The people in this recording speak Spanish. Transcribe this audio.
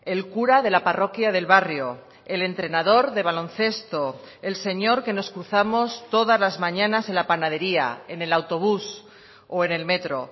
el cura de la parroquia del barrio el entrenador de baloncesto el señor que nos cruzamos todas las mañanas en la panadería en el autobús o en el metro